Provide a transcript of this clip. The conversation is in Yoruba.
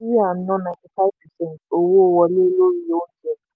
ná ninety five percent owó wọlé lórí oúnjẹ.